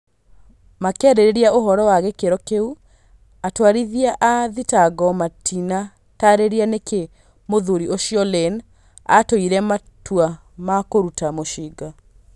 Makĩarĩrĩria ũhoro wa gĩkĩro kĩu, atwarithia a thitango matina tarĩria nĩkĩ mũthuri ũcio Lane atũire matua ma kũruta mucinga